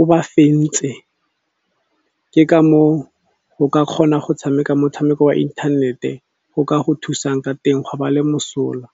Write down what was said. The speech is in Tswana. o ba fentse. Ke ka moo o ka kgona go tshameka motshameko wa inthanete go ka go thusang ka teng gwa ba le mosola.